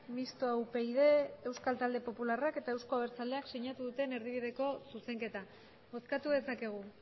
mistoa upyd eusko talde popularrak eta euzko abertzaleak sinatu duten erdibideko zuzenketa bozkatu dezakegu